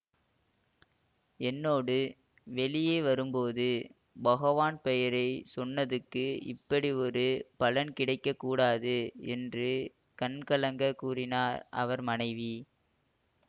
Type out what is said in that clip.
என்னோடு வெளியே வரும்போது பகவான் பெயரை சொன்னதுக்கு இப்படி ஒரு பலன் கிடைக்க கூடாது என்று கண்கலங்கக் கூறினாள் அவர் மனைவி